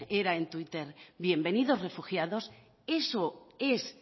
era en twitter bienvenidos refugiados eso es